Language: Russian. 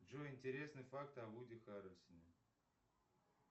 джой интересные факты о вуди харельсоне